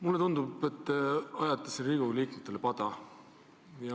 Mulle tundub, et te ajate siin Riigikogu liikmetele pada.